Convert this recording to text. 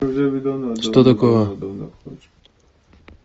что такое